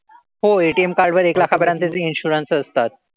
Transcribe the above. हो ATM card वर एक लाखापर्यंतचे insurance असतात.